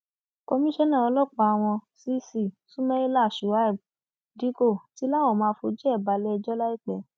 komisanna ọlọpàá wọn cc sumaila shuaibù dikko ti láwọn máa fojú ẹ balẹẹjọ láìpẹ